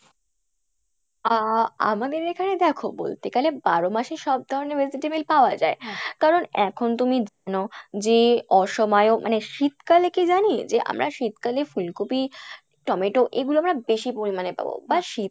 আহ আমাদের এখানে দেখো বলতে গেলে বারো মাসই সব ধরণের vegetable পাওয়া যায় কারন এখন তুমি জানো যে অসময়েও মানে শীতকালে কী জানি যে আমরা শীতকালে ফুলকপি টমেটো এগুলো আমরা বেশি পরিমাণে পাবো বা শীত